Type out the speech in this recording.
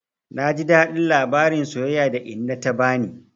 Na ji daɗin labarin soyayya da inna ta bani.